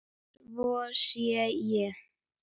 Svo sé ekki.